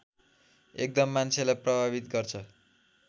एकदम मान्छेलाई प्रभावित गर्छ